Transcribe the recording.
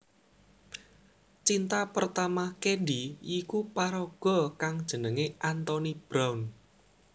Cinta pertama Candy yiku paraga kang jenenge Anthony Brown